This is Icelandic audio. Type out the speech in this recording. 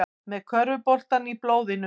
Með körfuboltann í blóðinu